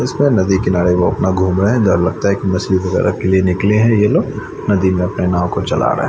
इसमें नदी किनारे वो अपना घूम रहे हैं इधर लगता है कि मछली वगैरह के लिए निकले है ये लोग नदि मे अपना नाव को चला रहा है --